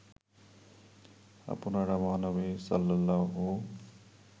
আপনারা মহানবী সাল্লাল্লাহু